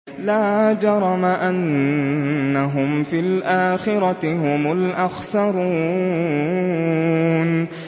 لَا جَرَمَ أَنَّهُمْ فِي الْآخِرَةِ هُمُ الْأَخْسَرُونَ